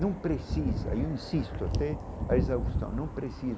Não precisa, insisto até a exaustão não precisa.